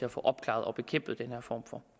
at få opklaret og bekæmpet den her form for